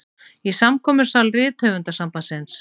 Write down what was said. Í samkomusal Rithöfundasambandsins.